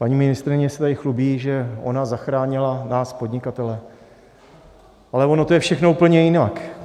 Paní ministryně se tady chlubí, že ona zachránila nás, podnikatele, ale ono je to všechno úplně jinak.